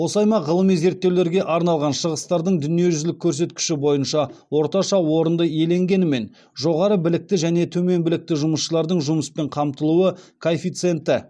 осы аймақ ғылыми зерттеулерге арналған шығыстардың дүниежүзілік көрсеткіші бойынша орташа орынды иеленгенімен жоғары білікті және төмен білікті жұмысшылардың жұмыспен қамтылуы коэффициенті